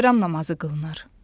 Bayram namazı qılınır.